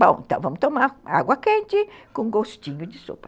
Bom, então vamos tomar água quente com gostinho de sopa.